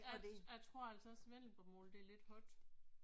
Jeg jeg tror altså også vendelbomål det er lidt hårdt